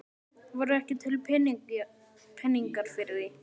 Það voru ekki til peningar fyrir því.